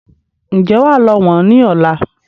Ǹjẹ́ wà lọ wọ̀n ni ọ̀la?